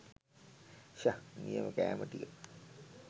ෂහ් නියම කෑම ටික.